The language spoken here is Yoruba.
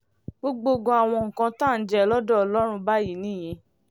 gbọ̀gbògo àwọn nǹkan tá à ń jẹ lọ́dọ̀ ọlọ́run báyìí nìyẹn